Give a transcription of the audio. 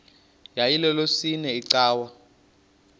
yayilolwesine iwe cawa